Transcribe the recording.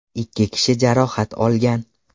Ikki kishi jarohat olgan.